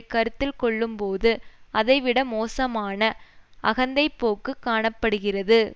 கருத்தில்கொள்ளும்போது அதைவிட மோசமான அகந்தைப்போக்கு காண படுகிறது